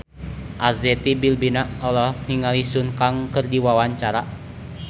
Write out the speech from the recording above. Arzetti Bilbina olohok ningali Sun Kang keur diwawancara